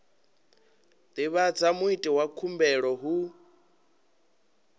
divhadza muiti wa khumbelo hu